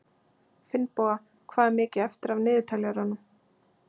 Finnboga, hvað er mikið eftir af niðurteljaranum?